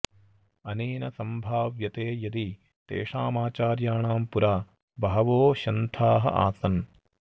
अनेन सम्भाव्यते यदि तेषामाचार्याणां पुरा बहवो शन्थाः आसन्